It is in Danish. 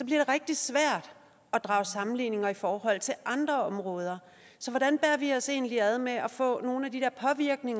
det rigtig svært at drage sammenligninger i forhold til andre områder så hvordan bærer vi os egentlig ad med at få nogle af de